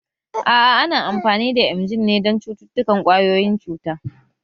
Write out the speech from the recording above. A'a ana amfani da emgyl ne don cututtukan ƙwayoyin cuta